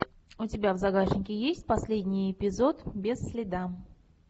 у тебя в загашнике есть последний эпизод без следа